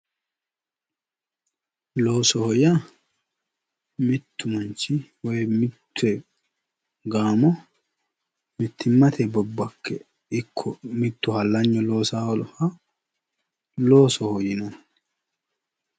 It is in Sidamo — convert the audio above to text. Loosoho yaa mittu manchi woyi mitte gaamo mittimmate bobbakke ikko mittu hallanyu loosaaha loosoho yinanni